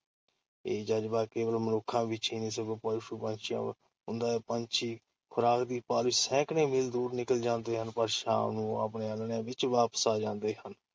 ਇਹ ਜ਼ਜਬਾ ਕੇਵਲ ਮਨੁੱਖਾਂ ਵਿੱਚ ਹੀ ਨਹੀ ਸਗੋਂ ਪਸ਼ੂ-ਪੰਛੀਆਂ ਵਿੱਚ ਵੀ ਹੁੰਦਾ ਹੈ। ਪੰਛੀ ਖੁਰਾਕ ਦੀ ਭਾਲ ਵਿੱਚ ਸੈਂਕੜੇ ਮੀਲ ਦੂਰ ਨਿਕਲ ਜਾਂਦੇ ਹਨ, ਪਰ ਸ਼ਾਮ ਨੂੰ ਉਹ ਆਪਣੇ ਆਲ੍ਹਣਿਆਂ ਵਿੱਚ ਵਾਪਸ ਆ ਜਾਂਦੇ ਹਨ।